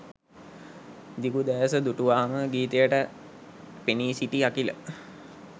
දිගු දෑස දුටුවාම ගීතයට පෙනී සිටි අඛිල